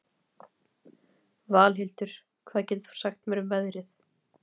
Valhildur, hvað geturðu sagt mér um veðrið?